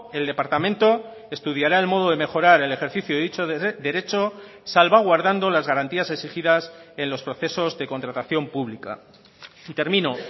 el departamento estudiará el modo de mejorar el ejercicio de dicho derecho salvaguardando las garantías exigidas en los procesos de contratación pública y termino